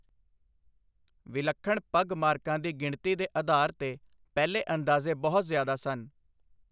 ਵਿਲੱਖਣ ਪਗਮਾਰਕਾਂ ਦੀ ਗਿਣਤੀ ਦੇ ਆਧਾਰ 'ਤੇ ਪਹਿਲੇ ਅੰਦਾਜ਼ੇ ਬਹੁਤ ਜ਼ਿਆਦਾ ਸਨ।